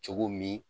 Cogo min